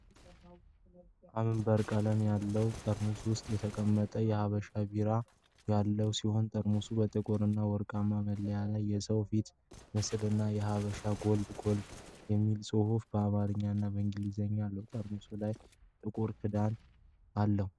አምበር ቀለም ባለው ጠርሙስ ውስጥ የተቀመጠ የሐበሻ ቢራ ያለ ሲሆን ጠርሙሱ በጥቁር እና ወርቃማ መለያ ላይ የሰውን ፊት ምስል እና "ሐበሻ ጎልድ ጎልድ" የሚል ጽሑፍ በአማርኛ እና በእንግሊዝኛ አለው። ጠርሙሱ ላይ ጥቁር ካፕ ክዳን አለው።